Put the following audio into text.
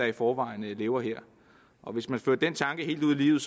i forvejen lever her hvis man fører den tanke helt ud i livet